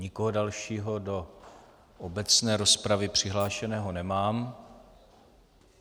Nikoho dalšího do obecné rozpravy přihlášeného nemám.